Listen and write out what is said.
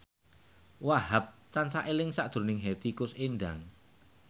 Wahhab tansah eling sakjroning Hetty Koes Endang